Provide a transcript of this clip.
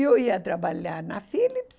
Eu ia trabalhar na Philips,